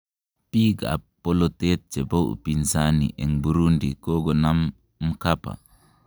Biik ab bolotet chebo upinsani en Burundi kogonam Mkapa.